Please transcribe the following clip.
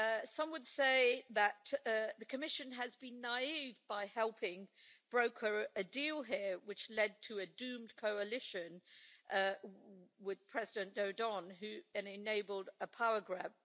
Some would say that the Commission has been naive by helping broker a deal here, which led to a doomed coalition with President Dodon who then enabled a power grab.